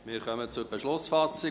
Wir kommen zur Beschlussfassung.